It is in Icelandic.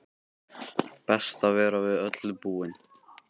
Best að vera við öllu búinn!